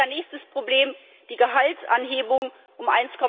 Nächstes Problem die Gehaltsanhebung um